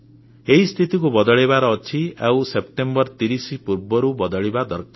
ଏହି ସ୍ଥିତିକୁ ବଦଳେଇବାର ଅଛି ଆଉ ସେପ୍ଟେମ୍ବର 30 ପୂର୍ବରୁ ବଦଳିବା ଦରକାର